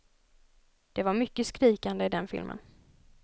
Det var mycket skrikande i den filmen.